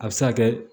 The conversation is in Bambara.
A bɛ se ka kɛ